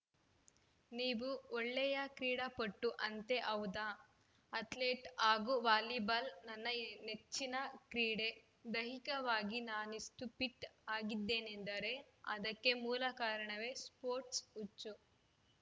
ನೀವು ಒಳ್ಳೆಯ ಕ್ರೀಡಾಪಟು ಅಂತೆ ಹೌದಾ ಅತ್ಲೇಟ್‌ ಹಾಗೂ ವಾಲಿಬಾಲ್‌ ನನ್ನ ನೆಚ್ಚಿನ ಕ್ರೀಡೆ ದೈಹಿಕವಾಗಿ ನಾನಿಷ್ಟುಫಿಟ್‌ ಆಗಿದ್ದೇನೆಂದರೆ ಅದಕ್ಕೆ ಮೂಲ ಕಾರಣವೇ ಸ್ಪೋರ್ಟ್ಸ್ ಹುಚ್ಚು